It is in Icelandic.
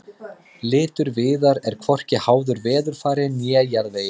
litur viðar er hvorki háður veðurfari né jarðvegi